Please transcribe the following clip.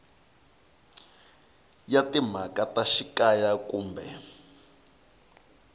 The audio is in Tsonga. ya timhaka ta xikaya kumbe